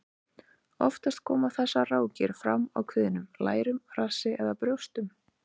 Oftast koma þessar rákir fram á kviðnum, lærum, rassi eða brjóstum.